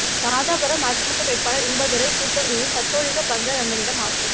ராதாபுரம் அதிமுக வேட்பாளர் இன்பதுரை கூத்தங்குழி கத்தோலிக்க பங்கு தந்தையிடம் ஆசி